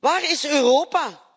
Waar is Europa?,